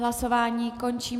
Hlasování končím.